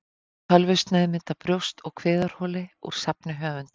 Tölvusneiðmynd af brjóst- og kviðarholi úr safni höfundar.